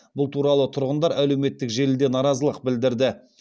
бұл туралы тұрғындар әлеуметтік желіде наразылық білдірді